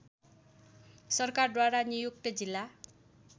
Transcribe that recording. सरकारद्वारा नियुक्त जिल्ला